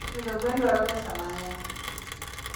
Pidho gwen dwaro pesa mang'eny.